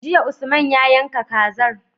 Jiya usman ya yanka kazar